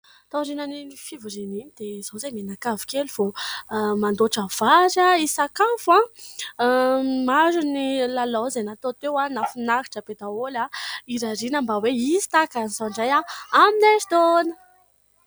Tao aorian'iny fivoriana iny dia izao izahay mianakavy kely vao mandoatra vary hisakafo. Maro ny lalao izay natao teo, nahafinaritra be daholo ; hirariana mba hoe hisy tahaka izao indray amin'ny erintaona.